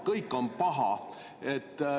Kõik on paha.